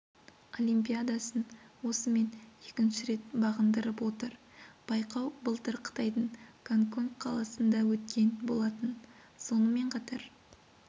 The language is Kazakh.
олимпиадасын осымен екінші рет бағындырып отыр байқау былтыр қытайдың гонконг қаласында өткен болатын сонымен қатар